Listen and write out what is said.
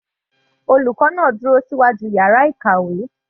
Olùkọ́ náà dúró síwájú yàrá ìkàwé.